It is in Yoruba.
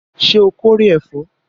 Ṣé o kórè ẹ̀fọ́?